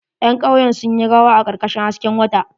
Ƴan kauyen sun yi rawa a karkashin hasken wata.